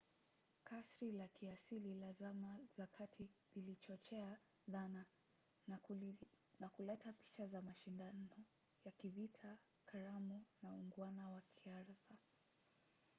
kasri la kiasili la zama za kati lilichochea dhana na kuleta picha za mashindano ya kivita karamu na uungwana wa kiartha